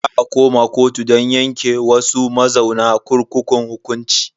Za a koma kotu don yanke wasu mazauna kurkukun hukunci.